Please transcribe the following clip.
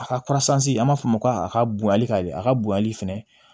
A ka kurasansi an b'a fɔ o ma ko a ka bonyali a ka bonyali fɛnɛ